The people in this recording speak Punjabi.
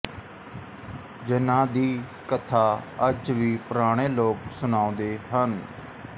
ਜਿਨ੍ਹਾਂਦੀ ਕਥਾ ਅੱਜ ਵੀ ਪੁਰਾਣੇ ਲੋਕ ਸੁਣਾਉਂਦੇ ਹਨ